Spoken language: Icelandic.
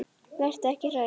Vertu ekki hrædd.